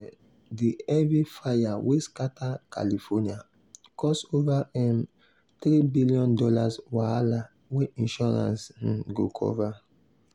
um the heavy fire wey scatter california cause over um $3 billion wahala wey insurance um go cover.